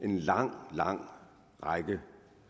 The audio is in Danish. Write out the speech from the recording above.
en lang lang række